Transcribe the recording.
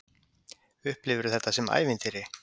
Kristján Már: Upplifirðu þetta sem ævintýri?